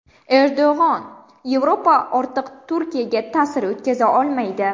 Erdo‘g‘on: Yevropa ortiq Turkiyaga ta’sir o‘tkaza olmaydi.